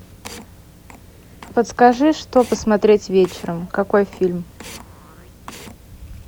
подскажи что посмотреть вечером какой фильм